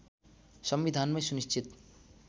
संविधानमै सुनिश्चित